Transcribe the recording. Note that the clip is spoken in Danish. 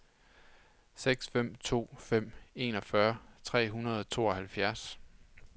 seks fem to fem enogfyrre tre hundrede og tooghalvfjerds